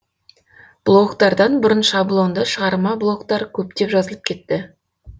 блогтардан бұрын шаблонды шығарма блогтар көптеп жазылып кетті